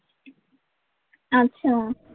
अच्छा.